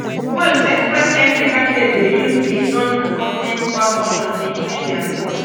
wey express entry candidates dey use di non accompanying spouse option to increase dia scores